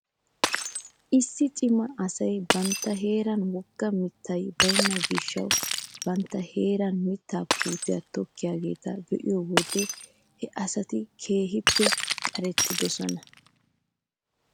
Issi cima asay bantta heeran wogga mittay baynna gishshassi bantta heeran mittaa puutiyaa tokkiyaageeta be'iyoo wode he asati keehippe qarettoosona.